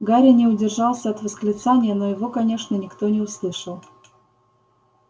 гарри не удержался от восклицания но его конечно никто не услышал